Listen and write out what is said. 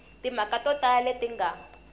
timhaka to tala leti nga